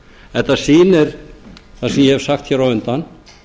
þetta sýnir það sem ég hef sagt á undan